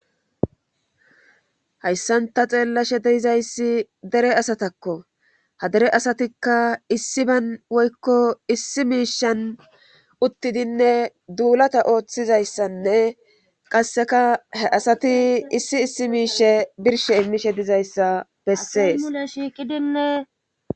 hayssanta xeellashe deizayssi dere asatakko ha dere asatikka issi bayn woykko issi miishan uttidinne duulata ooththizayssanne qasseka he asati issi issi miishe birshe immishe dizayssa bessee shiikidinnee